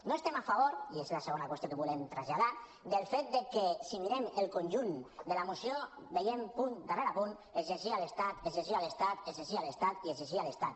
no estem a favor i és la segona qüestió que volem traslladar del fet que si mirem el conjunt de la moció veiem punt darrere punt exigir a l’estat exigir a l’estat exigir a l’estat i exigir a l’estat